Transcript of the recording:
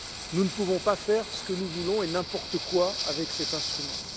Nous ne pouvons pas faire ce que nous voulons et n'importe quoi avec cet instrument.